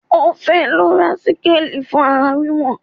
Ó fẹ́ lọ ra síkáàli fún ara wíwọ̀n